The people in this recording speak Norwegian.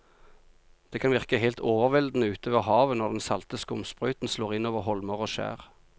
Det kan virke helt overveldende ute ved havet når den salte skumsprøyten slår innover holmer og skjær.